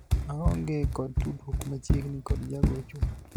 aonge kod tudruok machiegni kod jagochwa